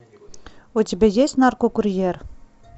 у тебя есть наркокурьер